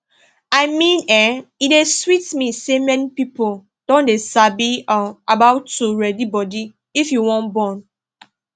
i mean[um]e dey sweet me say many people don dey sabi um about to ready body if you wan born